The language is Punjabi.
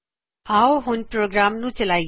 ਆਓ ਹੁਣ ਪ੍ਰੋਗਰਾਮ ਨੂੰ ਚਲਾਇਏ